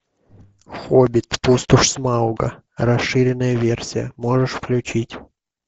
хоббит пустошь смауга расширенная версия можешь включить